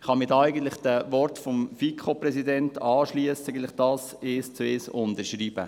Ich kann mich den Worten des FiKo-Präsidenten anschliessen und das Folgende eins zu eins unterschreiben: